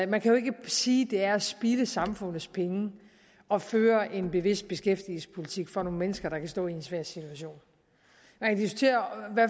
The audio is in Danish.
man kan jo ikke sige at det er spild af samfundets penge at føre en bevidst beskæftigelsespolitik for nogle mennesker der kan stå i en svær situation